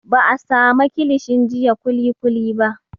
Ba a sama kilishin jiya kulikuli ba